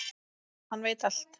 Hann veit allt!